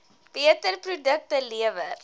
beter produkte lewer